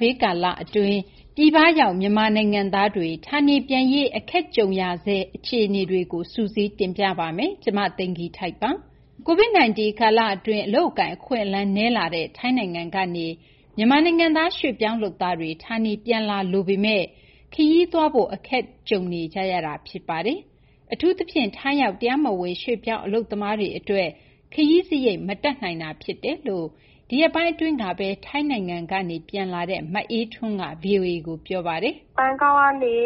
ဘေး ကာလအတွင်း ပြည်ပရောက် မြန်မာနိုင်ငံသားတွေ ဌာနေပြန်ရေး အခက်တွေ့နေကြရဆဲ အခြေအနေတွေကို မသိင်္ဂီထိုက် စုစည်း တင်ပြပေးထားပါတယ်။ COVID-19 ကာလအတွင်း အလုပ်အကိုင် အခွင့်အလမ်း နည်းလာတဲ့ ထိုင်းနိုင်ငံကနေ မြန်မာနိုင်ငံသား ရွှေ့ပြောင်းလုပ်သားတွေ ဌာနေပြန်လာလိုပေမယ့်လည်း ခရီးသွားလာရေး အခက်တွေ့နေကြရဆဲ ဖြစ်ပါတယ်။ အထူးသဖြင့် ထိုင်းရောက် တရားမဝင် ရွှေ့ပြောင်းအလုပ်သမားတွေ အတွက် ခရီးစရိတ် မတတ်နိုင်တာ ဖြစ်တယ်လို့ ဒီရက်ပိုင်းအတွင်းပဲ ထိုင်းနိုင်ငံကနေ မြန်မာနိုင်ငံကို ပြန်လာတဲ့ မအေးထွန်းက ဗွီအိုအေကို ပြောပါတယ်။ “ဘန်ကောက်ကနေ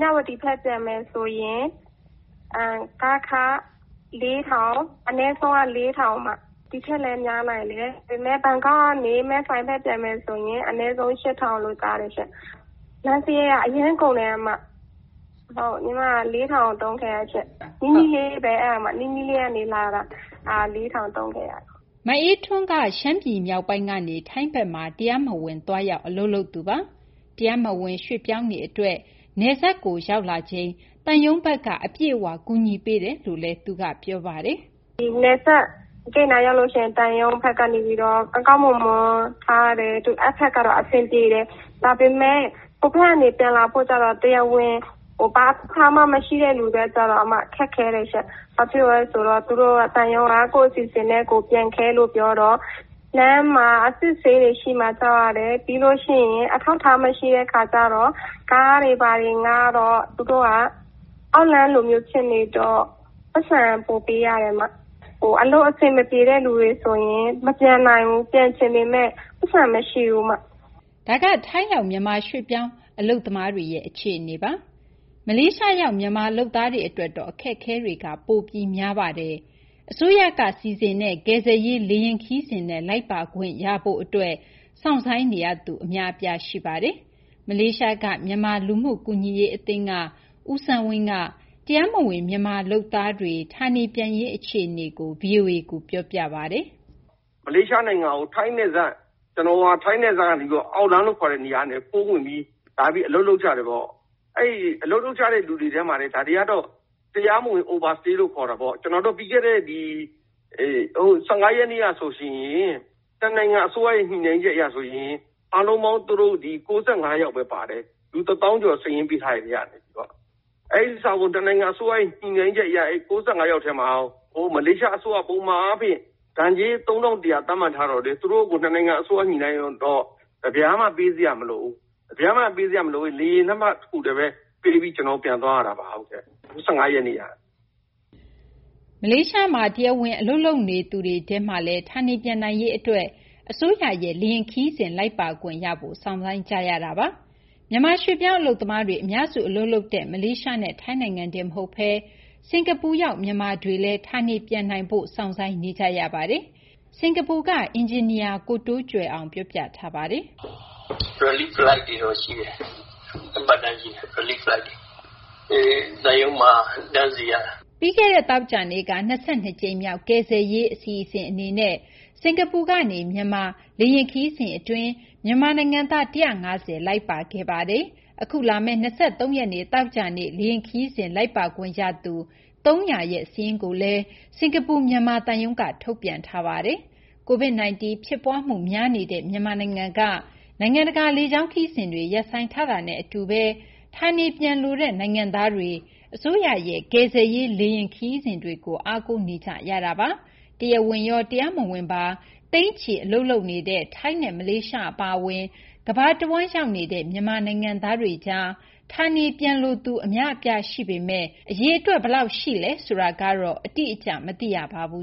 မြဝတီကို ပြန်မယ်ဆိုရင် ကားခ အနည်းဆုံးက ၄,၀၀၀၊ ဘန်ကောက်ကနေ မယ်ဆိုင်ဘက် ပြန်မယ်ဆိုရင် အနည်းဆုံး ၈,၀၀၀ လို့ ကြားတယ်ရှင့်။ လမ်းစရိတ်က အရမ်းကုန်ပါတယ်။ ကျမ ၄,၀၀၀ သုံးခဲ့ရပါတယ်။ အဲဒါ နီးနီးလေးပဲ၊ နီးနီးလေးကနေ လာတာ။” မအေးထွန်းက ရှမ်းပြည် မြောက်ပိုင်းကနေ ထိုင်းဘက်မှာ တရားမဝင် သွားရောက် အလုပ်လုပ်နေသူပါ။ တရားမဝင် ရွှေ့ပြောင်းတွေအတွက် နယ်စပ်ကို ရောက်လာချိန်မှာ သံရုံးဘက်က အပြည့်အဝ ကူညီပေးတယ်လို့လည်း ပြောပါတယ်။ “နယ်စပ်ကို ရောက်လာချိန်မှာတော့ သံရုံးဘက်က ကောင်းကောင်းမွန်မွန် ထားတယ်။ အဲဒီဘက်ကတော့ အဆင်ပြေတယ်။ ဒါပေမယ့် ဟိုဘက်ကနေ ပြန်လာမယ့်သူကျတော့ ဘာအထောက်အထားမှ မရှိတဲ့သူက ခက်ခဲတယ်ရှင့်။ သံရုံးက ကိုယ့်အစီအစဉ်နဲ့ကိုယ် ပြန်ခဲ့လို့ ပြောတော့ လမ်းမှာ အစစ်အဆေးရှိမှာ ကြောက်ရတယ်။ ပြီးလို့ရှိရင် အထောက်အထားမရှိတဲ့ အခါကျတော့ ကားတွေဘာတွေ ငှားတော့ သူတို့က အောက်လမ်းလို ဖြစ်နေတော့ ပိုက်ဆံ ပိုပေးရပါတယ်။ အလုပ်အဆင်မပြေတဲ့ သူတွေဆိုရင် မပြန်နိုင်ဘူး။ ပြန်ချင်ပေမယ့် ပိုက်ဆံမရှိဘူး။” ဒါက ထိုင်းရောက် မြန်မာရွှေ့ပြောင်းအလုပ်သမားတွေရဲ့ အခြေအနေပါ။ မလေးရှားရောက် မြန်မာလုပ်သားတွေ အတွက်တော့ အခက်အခဲတွေက ပိုပြီး များပါတယ်။ အစိုးရစီစဉ်ပေးတဲ့ ကယ်ဆယ်ရေးလေယာဉ် ခရီးစဉ်နဲ့ လိုက်ပါခွင့်ရဖို့အတွက် စောင့်ဆိုင်းနေရသူ အများအပြား ရှိပါတယ်။ မလေးရှားက မြန်မာလူမှုကူညီရေးအသင်းက ဦးစန်းဝင်းက တရားမဝင် မြန်မာအလုပ်သမားတွေ ဌာနေပြန်ရေး အခြေအနေကို ဗွီအိုအေကို ပြောပြပါတယ်။ “အကြောင်းကြောင်းကြောင့် ထိုင်းနယ်စပ်ကနေ ခိုးဝင်ပြီး လာပြီး အလုပ်လုပ်ကြတယ်ပေါ့။ အဲဒီ အလုပ်လုပ်ကြတဲ့ လူတွေထဲမှာတင် ဒါတွေကတော့ တရားမဝင် Overstay လို့ ခေါ်တာပေါ့။ ပြီးခဲ့တဲ့ ၁၅ ရက်နေ့ကဆိုရင် နှစ်နိုင်ငံ အစိုးရ ညှိနှိုင်းချက်အရဆိုရင် အားလုံးပေါင်း သူတို့ ၉၅ ယောက်ပဲ ပါတယ်။ လူ ၁၀,၀၀၀ ကျော် စာရင်းပေးထားတဲ့ အထဲက။ နှစ်နိုင်ငံအစိုးရ ညှိနှိုင်းချက်အရ အဲဒီ ၉၅ ယောက်ထဲမှာ မလေးရှားအစိုးရက ပုံမှန်ဒဏ်ကြေး ၃,၁၀၀ သတ်မှတ်ထားပေမယ့် နှစ်နိုင်ငံအစိုးရ ညှိနှိုင်းထားတော့ တပြားမှ ပေးစရာမလိုဘူး။ လေယာဉ်လက်မှတ်ဖိုးပဲ ပေးပြီး ပြန်သွားရတာပါ။” မလေးရှားနိုင်ငံမှာ တရားဝင် အလုပ်လုပ်နေသူတွေထဲမှာလည်း ဌာနေပြန်နိုင်ရေးအတွက် အစိုးရရဲ့ လေယာဉ်ခရီးစဉ် လိုက်ပါခွင့်ရဖို့ စောင့်ဆိုင်းနေကြရဆဲ ဖြစ်ပါတယ်။ မြန်မာ ရွှေ့ပြောင်းအလုပ်သမားတွေ အများစု အလုပ်လုပ်နေကြတဲ့ မလေးရှားနဲ့ ထိုင်းနိုင်ငံတင် မဟုတ်ဘဲ စင်ကာပူရောက် မြန်မာတွေလည်း ဌာနေပြန်ရေး စောင့်ဆိုင်းနေကြရပါတယ်။ စင်ကာပူက အင်ဂျင်နီယာ ကိုတိုးကြွယ်အောင်က အခုလို ပြောပြထားပါတယ်။ “သံရုံးကစီစဉ်တဲ့ Relief Flight တွေတော့ ရှိတယ်။ သံရုံးမှာ တန်းစီရတာ။” ပြီးခဲ့တဲ့ သောကြာနေ့က ၂၂ ကြိမ်မြောက် Relief Flight အနေနဲ့ စင်ကာပူကနေ မြန်မာ လေယာဉ်ခရီးစဉ်အတွင်း မြန်မာနိုင်ငံသား ၁၅၀ လိုက်ပါသွားပါတယ်။ အခုလာမယ့် ၂၃ ရက်နေ့ သောကြာနေ့ လေယာဉ်ခရီးစဉ် လိုက်ပါခွင့်ရသူ ၃၀၀ ဦးရဲ့ စာရင်းကို စင်ကာပူ မြန်မာသံရုံးက ထုတ်ပြန်ထားပါတယ်။ COVID-19 ဖြစ်ပွားမှု များနေတဲ့ မြန်မာနိုင်ငံက နိုင်ငံတကာ လေကြောင်းခရီးစဉ်တွေ ရပ်ဆိုင်းထားတာနဲ့ အတူပဲ ဌာနေပြန်လိုတဲ့ နိုင်ငံသားတွေ အစိုးရရဲ့ ကယ်ဆယ်ရေးလေယာဉ် ခရီးစဉ်တွေကို အားကိုးနေကြရတာပါ။ တရားဝင်ရော တရားမဝင်ပါ သိန်းချီ အလုပ်လုပ်ကိုင်နေတဲ့ ထိုင်းနဲ့ မလေးရှား အပါအဝင် ကမ္ဘာတဝန်း ရောက်နေကြတဲ့ မြန်မာနိုင်ငံသားတွေကြား ဌာနေပြန်လိုသူ အများအပြား ရှိနေပေမယ့် အရေအတွက် ဘယ်လောက်ရှိလဲ ဆိုတာတော့ အတိအကျ မသိရပါဘူး